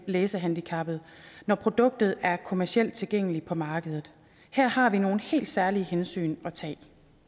læsehandicappede når produktet er kommercielt tilgængeligt på markedet her har vi nogle helt særlige hensyn at tage